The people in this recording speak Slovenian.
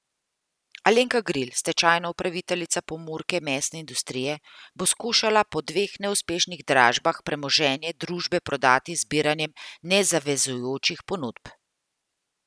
Alenka Gril, stečajna upraviteljica Pomurke mesne industrije, bo skušala po dveh neuspešnih dražbah premoženje družbe prodati z zbiranjem nezavezujočih ponudb.